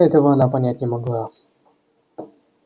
этого она понять не могла